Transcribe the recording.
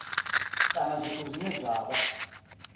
kana zwithu zwine zwa vha